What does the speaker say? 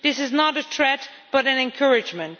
This is not a threat but an encouragement.